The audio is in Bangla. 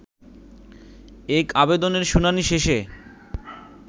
এক আবেদনের শুনানি শেষে